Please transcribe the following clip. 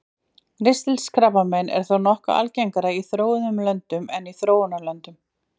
Ristilkrabbamein er þó nokkuð algengara í þróuðum löndum en í þróunarlöndum.